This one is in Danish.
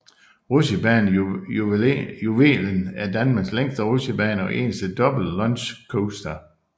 Rutsjebanen Juvelen er Danmarks længste rutsjebane og eneste double launch coaster